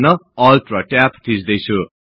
म टर्मिनलमा जान ALT र Tab थिच्दैछु